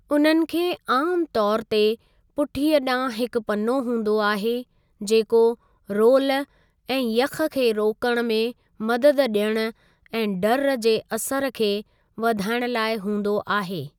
उन्हनि खे आमु तौर ते पुठीअ ॾांहुं हिक पनो हूंदो आहे, जेको रोल ऐं यख़ खे रोकणु में मदद ॾियणु ऐं डर्र जे असर खे वधाइणु लाइ हूंदो आहे।